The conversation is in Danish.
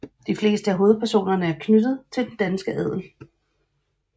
De fleste af hovedpersonerne er knyttet til den danske adel